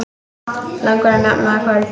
Langar að nefna það kvöld.